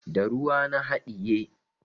Da ruwa na haɗiye.